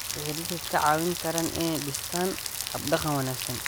Waxay dadka ka caawin karaan inay dhistaan ??hab-dhaqan wanaagsan.